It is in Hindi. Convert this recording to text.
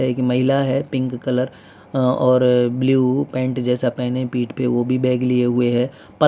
एक महिला है पिंक कलर अ और ब्लू पेंट जैसा पहने पीठ पे वो भी बैग लिए हुए है प --